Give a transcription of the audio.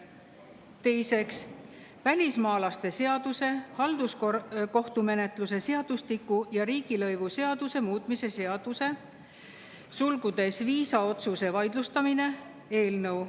Teiseks, välismaalaste seaduse, halduskohtumenetluse seadustiku ja riigilõivuseaduse muutmise seaduse eelnõu.